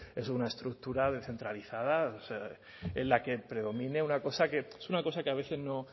es una estructura descentralizada en la que predomine una cosa que es una cosa que a veces en